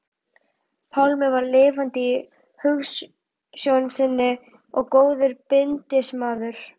Pálmi var lifandi í hugsjón sinni og góður bindindismaður.